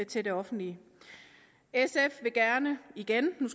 til det offentlige sf vil gerne igen